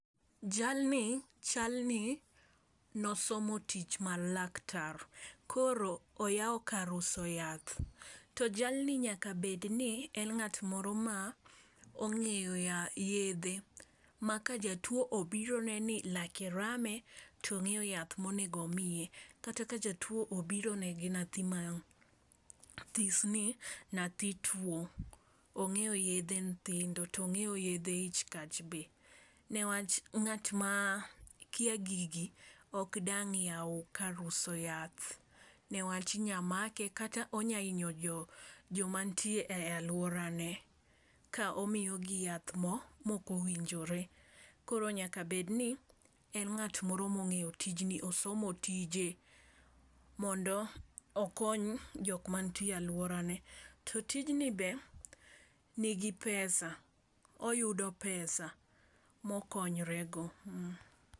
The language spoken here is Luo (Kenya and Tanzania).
Jalni chal ni nosomo tich mar laktar, koro oyawo kar uso yath. To jalni nyaka bed ni ng'at moro ma ong'eyo ya yedhe ma ka jatuo obiro ne ni lake rame to ong'eyo yath monego omiye. Kata ka jatuo obiro ne gi nathi ma this ni nathi tuo, ong'eyo yedhe nthindo tong'eyo yedhe ich kach be newach ng'at ma kia gigi ok dang' yaw kar uso yath newach, inya make kata onya inyo jo jomantie e aluorane ka omiyo gi yath mokowinjore. koro nyaka bed ni en ng'at moro mong'eyo tijni osomo tije mondo okony jok mantie e aluorane. To tijni ber nigi pesa oyudo pesa mokonyre go.